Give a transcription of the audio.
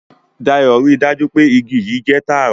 Dayo rí dájú pé ìgi yii jẹ tààrà